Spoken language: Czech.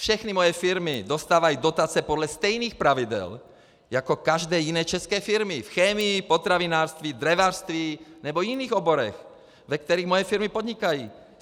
Všechny moje firmy dostávají dotace podle stejných pravidel jako každé jiné české firmy v chemii, potravinářství, dřevařství nebo jiných oborech, ve kterých moje firmy podnikají.